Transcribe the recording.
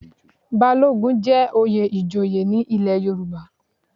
Balogun jẹ́ oyè ìjòyè ní ilé Yorùbá.